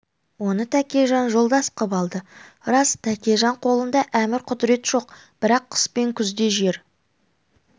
оны тәкежан жолдас қып алды рас тәкежан қолында әмір құдірет жоқ бірақ қыс пен күзде жер